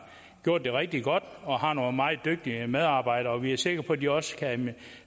gjort det rigtig godt og har nogle meget dygtige medarbejdere og vi er sikre på at de også kan